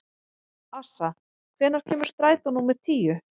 Assa, hvenær kemur strætó númer tíu?